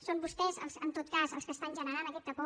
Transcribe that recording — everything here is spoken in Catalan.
són vostès en tot cas els qui estan generant aquesta por